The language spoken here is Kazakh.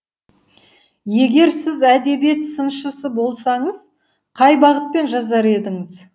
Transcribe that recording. егер сіз әдебиет сыншысы болсаңыз қай бағытпен жазар едіңіз